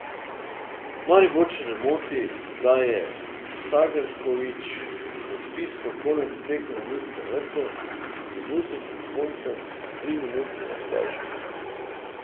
Mariborčane moti, da je Sagrković odpiskal konec tekme v Ljudskem vrtu minuto pred koncem triminutnega podaljška.